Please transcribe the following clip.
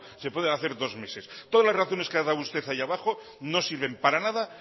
se puede hacer dos meses todas las razones que ha dado usted ahí abajo no sirven para nada